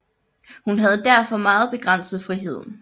Hun havde derfor meget begrænset frihed